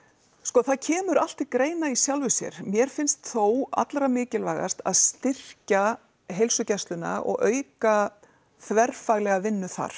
það kemur allt til greina í sjálfu sér mér finnst þó allra mikilvægast að styrkja heilsugæsluna og auka þverfaglega vinnu þar